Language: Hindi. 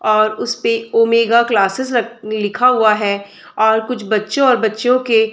और उसपे ओमेगा क्लासेज लग लिखा हुआ है और कुछ बच्चों और बच्चीयों के --